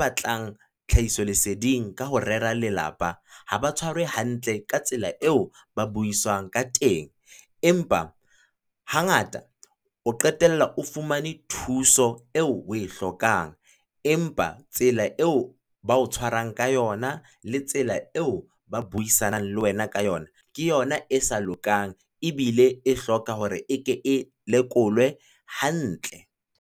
batlang tlhahiso leseding ka ho rera Lelapa, ha ba tshwarwe hantle ka tsela eo ba buiswang ka teng, empa hangata o qetella o fumane thuso eo o e hlokang. Empa tsela eo ba o tshwarang ka yona, le tsela eo ba buisanang le wena ka yona, ke yona e sa lokang, ebile e hloka hore e ke e lekolwe hantle.